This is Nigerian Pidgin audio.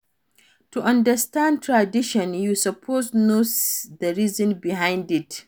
To understand traditions you suppose know the reason behind it